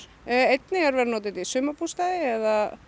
einnig er verið að nota þetta í sumarbústaði eða